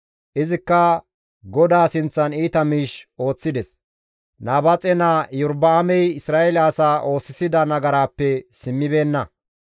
Izikka GODAA sinththan iita miish ooththides; Nabaaxe naa Iyorba7aamey Isra7eele asaa oosisida nagaraappe simmibeenna.